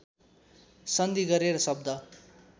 सन्धि गरेर शब्द